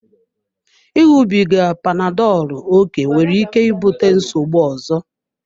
Ịṅụbiga panadolu oké nwere ike ibute nsogbu ọzọ.